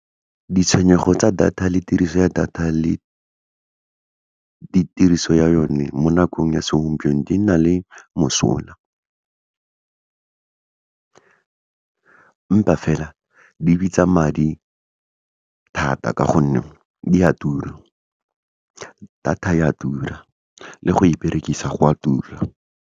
Ditshwenyego tsa data le tiriso ya data, le ditiriso ya yone mo nakong ya segompieno, di na le mosola empa fela, di bitsa madi thata ka gonne, di a tura, data e a tura, le go e berekisa go a tura.